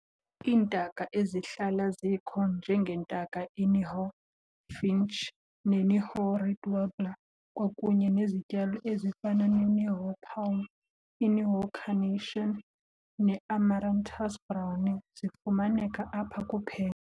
Iintaka ezihlala zikho njengentaka iNihoa finch neNihoa reed warbler, kwakunye nezityalo ezifana neNihoa palm, iNihoa carnation, neAmaranthus "brownii" zifumaneka apha kuphela.